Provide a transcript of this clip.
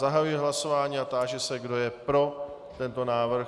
Zahajuji hlasování a táži se, kdo je pro tento návrh.